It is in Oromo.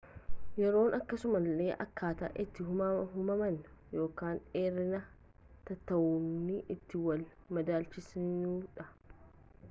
yeroon akkasuma illee akkaataa itti hammamtaa dheerina taateewwanii itti wal madaalchisnudha